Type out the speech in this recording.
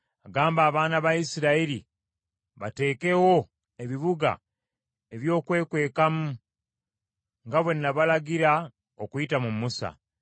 “Gamba abaana ba Isirayiri bateekewo ebibuga ebyokwekwekamu nga bwe nabalagira okuyita mu Musa,